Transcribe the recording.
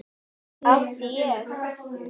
Átti ég.